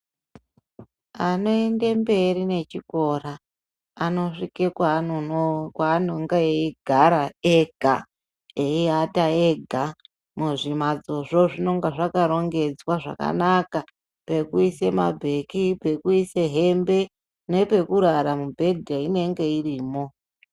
Anoenda mberi nechikora anosvika kwanonga eigara ega eiata ega muzvimbatsozvo zvinonga zvakarongedzwa zvakanaka ngekuisa mabheki pekuisa hembe nepekurara mibhedha inenge iripo.